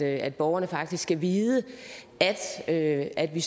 at borgerne faktisk skal vide at vi